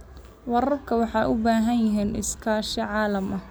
Waraabka wuxuu u baahan yahay iskaashi caalami ah.